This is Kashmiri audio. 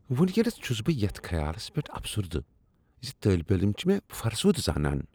وینکینس چھس بہٕ یتھ خیالس پیٹھ افسردہ زِ طٲلب علم چھِ مےٚ فرسودہ زانان۔